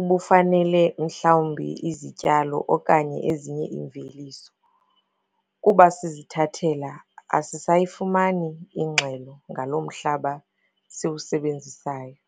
ubufanele mhlawumbi izityalo okanye ezinye iimveliso. Kuba sizithathela, asisayifumani ingxelo ngalo mhlaba siwusebenzisayo.